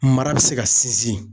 Mara bɛ se ka sinsin.